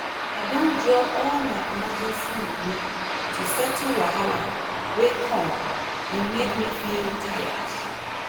i don draw all my emergency money to settle wahala wey come e make me feel tired